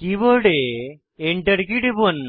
কীবোর্ডে Enter key টিপুন